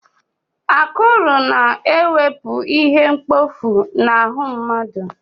Akụrụ na-ewepu ihe mkpọfu n'ahụ mmadụ.